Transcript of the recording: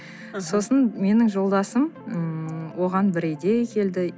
сосын менің жолдасым ммм оған бір идея келді